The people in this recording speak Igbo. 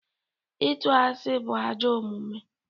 Ịtụ asị bụ ajọ omume